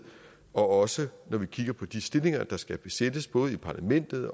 også når vi kigger på de stillinger der skal besættes både i parlamentet